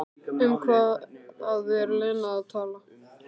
Um hvað er Lena að tala?